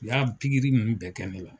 U y'a pikiri nunnu bɛɛ kɛ ne la.